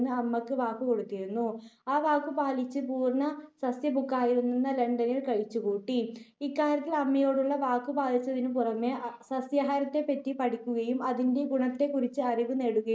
അമ്മയ്ക്ക് വാക്കു കൊടുത്തിരുന്നു. ആ വാക്കു പാലിച്ച് പൂർണ്ണ സസ്യഭുക്കായിത്തന്നെ ലണ്ടനിൽ കഴിച്ചുകൂട്ടി. ഇക്കാര്യതൽ അമ്മയോടുള്ള വാക്കു പാലിച്ചതിനുപുറമേ സസ്യാഹാരത്തെപ്പറ്റി പഠിക്കുകയും അതിന്റെ ഗുണത്തെക്കുറിച്ച് അറിവ് നേടുകയും